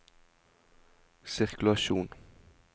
sirkulasjon